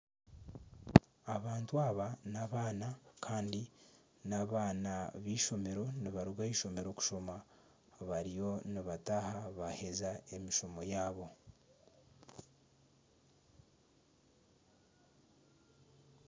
Abantu aba n'abaana kandi n'abaana b'eishomero nibaruga ah'eishomero kushoma bariyo nibataaha baaheza emishomo yaabo